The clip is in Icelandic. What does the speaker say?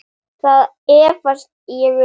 Það efast ég um.